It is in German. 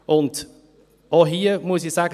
Auch hier muss ich sagen: